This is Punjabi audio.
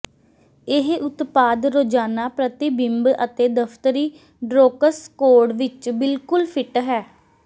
ਇਹ ਉਤਪਾਦ ਰੋਜ਼ਾਨਾ ਪ੍ਰਤੀਬਿੰਬ ਅਤੇ ਦਫ਼ਤਰੀ ਡਰੌਕਸ ਕੋਡ ਵਿੱਚ ਬਿਲਕੁਲ ਫਿੱਟ ਹੈ